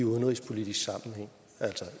udenrigsministeren